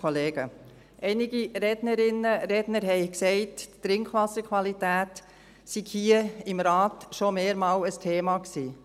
Einige Rednerinnen und Redner haben gesagt, die Trinkwasserqualität sei hier im Rat schon mehrmals ein Thema gewesen.